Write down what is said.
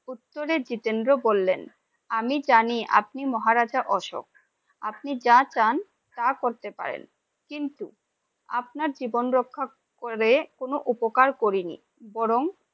উত্তরে জিতেন্দ্র বললেন, আমি জানি আপনি মহারাজা অশোক, আপনি যা চান তা করতে পারেন কিন্তু আপনার জীবন রক্ষা করে কোন উপকার করিনি বরণ